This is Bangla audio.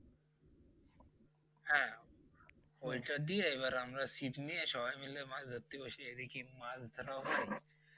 ঐটা দিয়ে এবার আমরা ছিপ নিয়ে সবাই মিলে মাছ ধরতে বসি এদিকে মাছ ধরা হলে